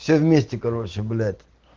все вместе короче блять